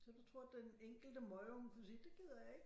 Så du tror at den enkelte møgunge kunne sige det gider jeg ikke